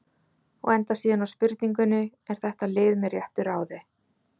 Og endar síðan á spurningunni: Er þetta lið með réttu ráði?